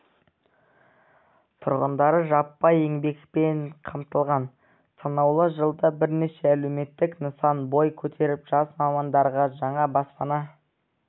тұрғындары жаппай еңбекпен қамтылған санаулы жылда бірнеше әлеуметтік нысан бой көтеріп жас мамандарға жаңа баспана